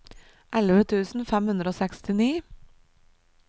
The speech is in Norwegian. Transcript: elleve tusen fem hundre og sekstini